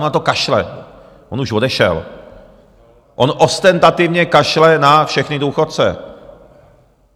On na to kašle, on už odešel, on ostentativně kašle na všechny důchodce.